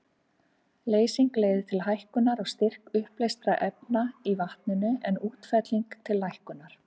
Leysing leiðir til hækkunar á styrk uppleystra efna í vatninu, en útfelling til lækkunar.